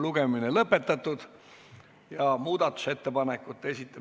Kuigi me pikendasime istungi aega kella kaheni, pean ma siiski kurvastusega ütlema, et istung on lõppenud.